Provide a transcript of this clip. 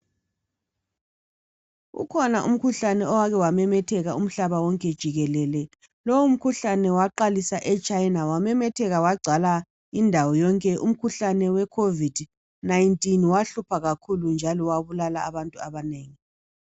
Ukhona umkhuhlane owake wamemetheka umhlaba wonke jikelele, lowo mkhuhlane waqalisa e China wamemetheka wagcwala indawo yonke umkhuhlane we Covid19 wahlupha kakhulu njalo wabulala abantu abanengi.